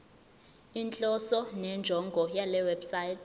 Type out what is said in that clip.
inhloso nenjongo yalewebsite